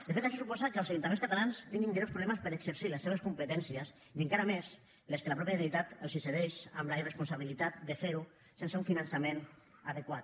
de fet això suposa que els ajuntaments catalans tinguin greus problemes per exercir les seves competències i encara més les que la mateixa generalitat els cedeix amb la irresponsabilitat de fer ho sense un finançament adequat